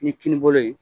Ni kinibolo ye